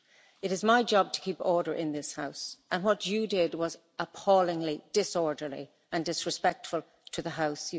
It is my job to keep order in this House, and what you did was appallingly disorderly and disrespectful to the House.